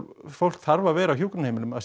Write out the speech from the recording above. fólk þarf að vera á hjúkrunarheimilum að